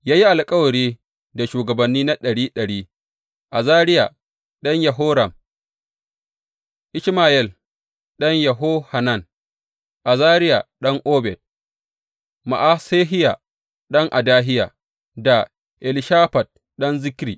Ya yi alkawari da shugabanni na ɗari ɗari, Azariya ɗan Yeroham, Ishmayel ɗan Yehohanan, Azariya ɗan Obed, Ma’asehiya ɗan Adahiya, da Elishafat ɗan Zikri.